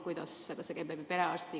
Kuidas see käib?